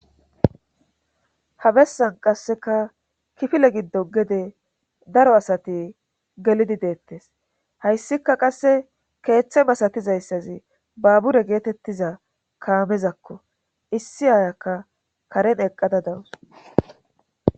habessan qasseka kifile giddo gede daro asati gelidi deettes hayssika qasse keeththe masatizayssazi babure geetettiza kaamezakko issi aayakka karen eqqada dawus